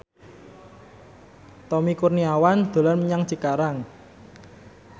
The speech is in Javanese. Tommy Kurniawan dolan menyang Cikarang